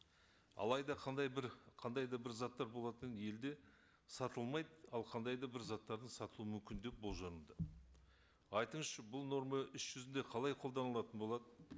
алайда қандай бір қандай да бір заттар болатын елде сатылмайды ал қандай да бір заттарды сату мүмкіндік бұл жөнінде айтыңызшы бұл норма іс жүзінде қалай қолданылатын болады